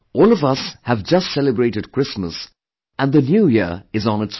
All of us have just celebrated Christmas and the New Year is on its way